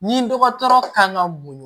Ni dɔgɔtɔrɔ kan ka mun